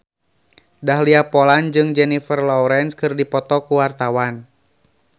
Dahlia Poland jeung Jennifer Lawrence keur dipoto ku wartawan